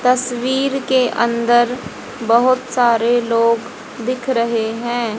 तस्वीर के अंदर बहोत सारे लोग दिख रहे हैं।